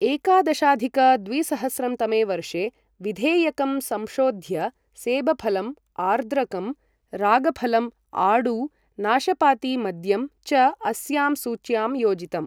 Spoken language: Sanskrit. एकादशाधिक द्विसहस्रं तमे वर्षे विधेयकं संशोध्य सेब फलं, आर्द्रकं, रागफलं, आड़ू, नाशपातीमद्यं च अस्यां सूच्य़ां योजितम्।